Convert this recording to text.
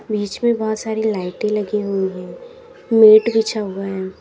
बीच में बहुत सारी लाइटें लगी हुई हैं मैट बिछा हुआ है।